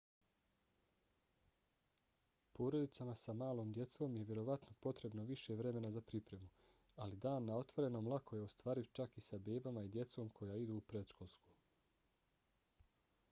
porodicama sa malom djecom je vjerovatno potrebno više vremena za pripremu ali dan na otvorenom lako je ostvariv čak i sa bebama i djecom koja idu u predškolsko